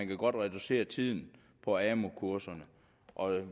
kan reducere tiden på amu kurserne og at